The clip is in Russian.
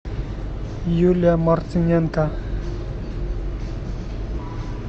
юлия мартыненко